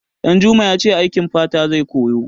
Ɗanjuma ya ce aikin fata zai koya.